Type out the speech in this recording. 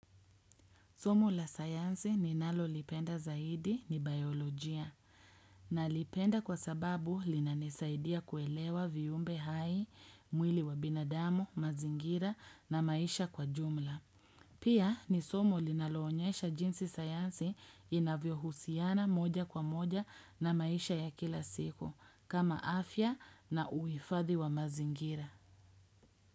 Somo la sayansi ni nalo lipenda zaidi ni biolojia. Nalipenda kwa sababu linanisaidia kuelewa viumbe hai, mwili wa binadamu, mazingira na maisha kwa jumla. Pia ni somo linaloonyesha jinsi sayansi inavyo husiana moja kwa moja na maisha ya kila siku kama afya na uifadhi wa mazingira.